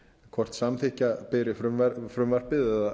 hvort samþykkja beri frumvarpið eða